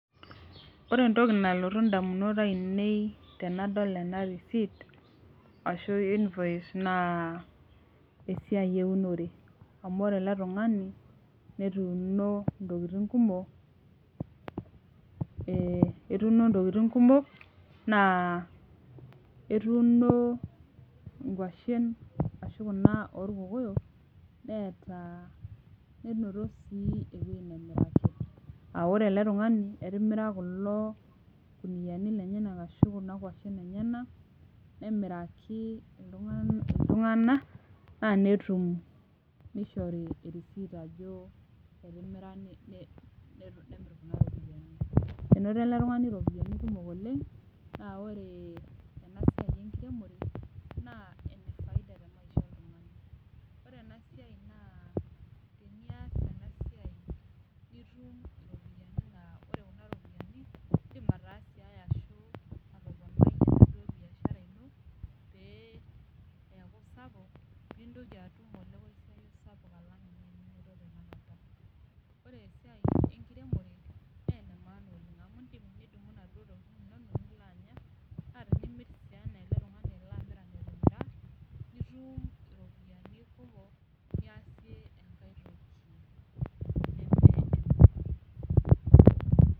Ore entoki nalotu damunot ainei tenadol ena receipt invoice naa esiai eunore. amh ore ele tungani netuuno ntokitin kumok. etuino ntokitin kumok naa etuuno inkwashen ashu Kuna oorkokoyok. neeta ,nenoti sii ewueji nemiraki, aa ore ele tungani etimira kulo kuniyiani lenyenak ashu Kuna nkuashen enyenak, nemiraki iltunganak naa netum nishori receipt ajo etimira netum Kuna ropiyiani. enoto ele tungani ropiyiani kumok oleng .naa ore ena siai enkiremore naa .ore ena siai nas tenias ena siai nitum .idim atoponie biashara ino